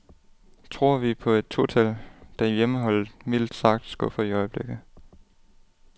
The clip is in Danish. Tror vi på et to tal, da hjemmeholdet mildt sagt skuffer i øjeblikket.